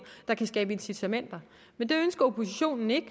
der kan skabe incitamenter men det ønsker oppositionen ikke